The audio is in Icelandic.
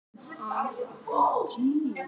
Hann skammaðist sín niður í tær.